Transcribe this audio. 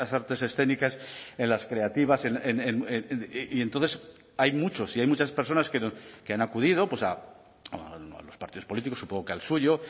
artes escénicas en las creativas y entonces hay muchos y hay muchas personas que han acudido a los partidos políticos supongo que al suyo